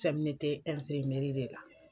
de la